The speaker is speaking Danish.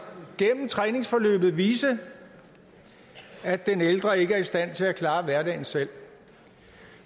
gennem træningsforløbet vise at den ældre ikke er i stand til at klare hverdagen selv